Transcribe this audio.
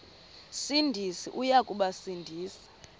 sindisi uya kubasindisa